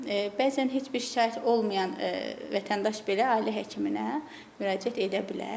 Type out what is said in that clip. Bəzən heç bir şikayət olmayan vətəndaş belə ailə həkiminə müraciət edə bilər.